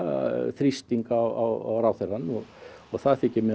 þrýsting á ráðherrann og það þykir mér